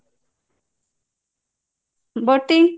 botting